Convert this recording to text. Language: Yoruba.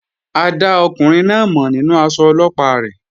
A dá ọkùnrin náà mọ̀ nínú aṣọ Ọlọ́pàá rẹ̀